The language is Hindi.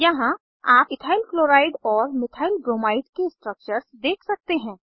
यहाँ आप इथाइल क्लोराइड और मिथाइल ब्रोमाइड के स्ट्रक्चर्स देख सकते हैं